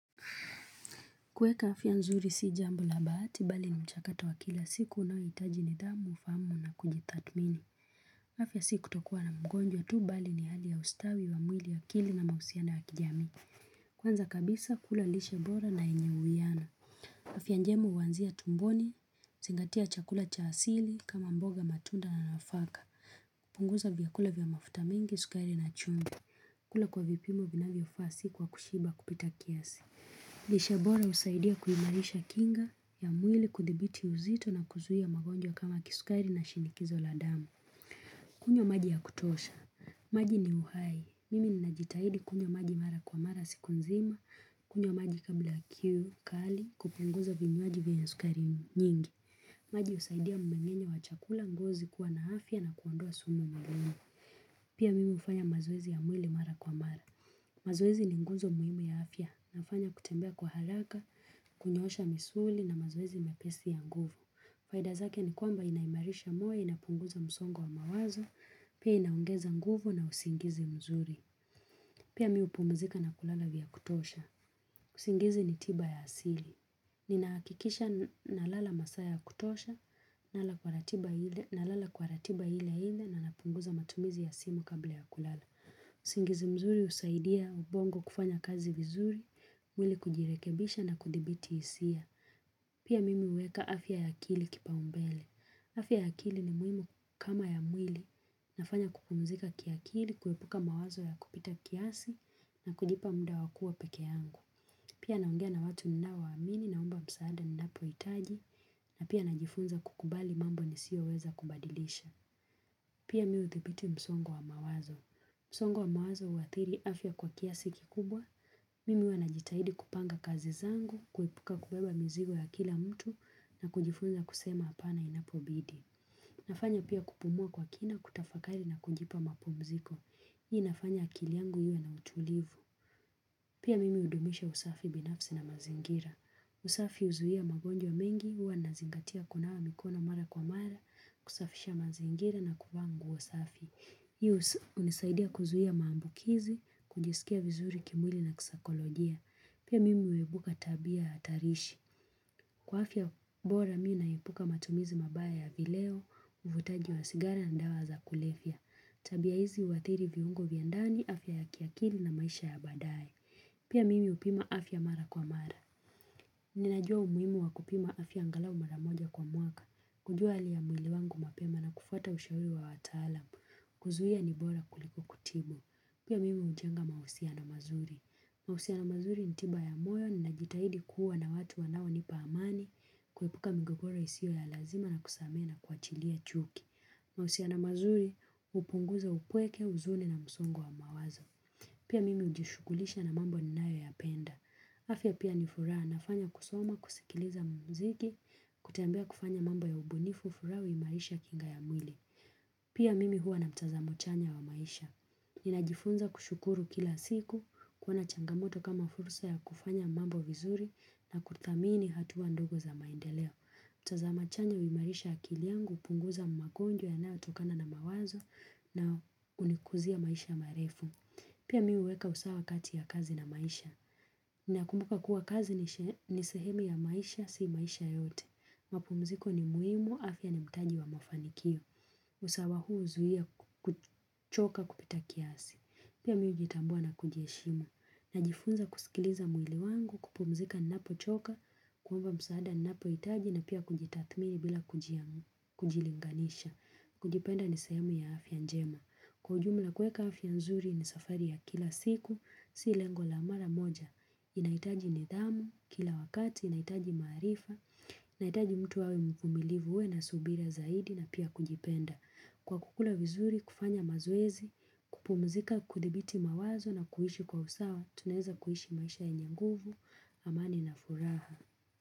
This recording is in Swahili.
Kueka afya nzuri si jambo la bahati bali ni mchakato wa kila siku unaohitaji nidhamu ufahamu na kujitathmini. Afya si kutokuwa na mgonjwa tu bali ni hali ya ustawi wa mwili akili na mahusiano wa kijamii. Kwanza kabisa kula lishe bora na yenye uwiano. Afya njema huanzia tumboni, zingatia chakula cha asili kama mboga matunda na nafaka. Punguza vyakula vya mafuta mingi, sukari na chumvi. Kula kwa vipimo vinavyofaa si kwa kushiba kupita kiasi. Lishe bora husaidia kuimarisha kinga ya mwili kudhibiti uzito na kuzuia magonjwa kama kisukari na shinikizo la damu. Kunywa maji ya kutosha. Maji ni uhai. Mimi ninajitahidi kunywa maji mara kwa mara siku nzima. Kunywa maji kabla kiu kali, kupunguza vinywaji vina sukari nyingi. Maji husaidia mmengenyo wa chakula ngozi kuwa na afya na kuondoa sumu mwilini. Pia mimi hufanya mazoezi ya mwili mara kwa mara. Mazoezi ni nguzo muhimu ya afya, nafanya kutembea kwa haraka, kunyoosha misuli na mazoezi mepesi ya nguvu. Faida zake ni kwamba inaimarisha moyo, inapunguza msongo wa mawazo, pia inaongeza nguvu na usingizi mzuri. Pia mi hupumzika na kulala vya kutosha. Usingizi ni tiba ya asili. Ninahakikisha nalala masaa ya kutosha, nalala kwa ratiba ile hile na napunguza matumizi ya simu kabla ya kulala. Usingizi mzuri husaidia ubongo kufanya kazi vizuri, mwili kujirekebisha na kudhibiti hisia Pia mimi huweka afya ya akili kipaumbele afya ya akili ni muhimu kama ya mwili nafanya kupumzika kiakili, kuepuka mawazo ya kupita kiasi na kujipa muda wa kuwa peke yangu Pia naongea na watu ninaowaamini naomba msaada ninapohitaji na pia najifunza kukubali mambo ni sio weza kubadilisha Pia mimi udhibiti msongo wa mawazo msongo wa mawazo huadhiri afya kwa kiasi kikubwa, mimi huwa najitahidi kupanga kazi zangu, kuepuka kubeba mzigo ya kila mtu na kujifunza kusema hapana inapobidi. Nafanya pia kupumua kwa kina kutafakari na kujipa mapumziko. Hii inafanya akili yangu iwe na utulivu. Pia mimi hudumisha usafi binafsi na mazingira. Usafi huzuia magonjwa mengi, huwa nazingatia kunawa mikono mara kwa mara, kusafisha mazingira na kuvaa nguo safi. Hii hunisaidia kuzuia maambukizi, kujisikia vizuri kimwili na kisaikolojia. Pia mimi huwebuka tabia ya hatarishi. Kwa afya bora mi naepuka matumizi mabaya ya vileo, uvutaji wa sigara na dawa za kulevya. Tabia hizi huadhiri viungo vya ndani, afya ya kiakili na maisha ya baadaye Pia mimi upima afya mara kwa mara. Ninajua umuhimu wa kupima afya angalau mara moja kwa mwaka. Kujua hali ya mwili wangu mapema na kufuata ushauri wa wataalamu. Kuzuia ni bora kuliko kutibu. Pia mimi hujenga mahusiano mazuri. Mahusiano mazuri ni tiba ya moyo ninajitahidi kuwa na watu wanaonipa amani kuepuka mgogoro isiyo ya lazima na kusamehe na kuachilia chuki. Mahusiano mazuri hupunguza upweke huzuni na msongo wa mawazo. Pia mimi hujishughulisha na mambo ninayoyapenda. Afya pia ni furaha nafanya kusoma kusikiliza muziki kutembea kufanya mambo ya ubunifu furaha huimarisha kinga ya mwili. Pia mimi huwa na mtazamo chanya wa maisha. Ninajifunza kushukuru kila siku, kuona changamoto kama fursa ya kufanya mambo vizuri na kuthamini hatua ndogo za maendeleo. Mtazamo chanya huimarisha akili yangu, hupunguza magonjwa yanaotokana na mawazo na hunikuzia maisha marefu. Pia mi huweka usawa kati ya kazi na maisha. Ninakumbuka kuwa kazi ni sehemu ya maisha, si maisha yote. Mapumziko ni muhimu, afya ni mtaji wa mafanikio. Usawa huu huzuia kuchoka kupita kiasi Pia mi hujitambua na kujiheshimu Najifunza kusikiliza mwili wangu kupumzika ninapochoka kuomba msaada ninapohitaji na pia kujitathmini bila kujilinganisha kujipenda ni sehemu ya afya njema Kwa ujumla kueka afya nzuri ni safari ya kila siku si lengo la mara moja nahitaji nidhamu, kila wakati nahitaji maarifa Nahitaji mtu awe mvumilivu uwe na subira zaidi na pia kujipenda Kwa kukula vizuri, kufanya mazoezi, kupumzika, kudhibiti mawazo na kuishi kwa usawa tunaeza kuishi maisha yenye nguvu, amani na furaha.